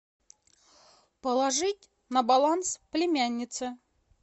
положить на баланс племяннице